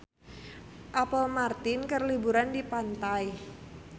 Apple Martin keur liburan di pantai